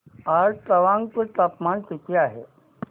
आज तवांग चे तापमान किती आहे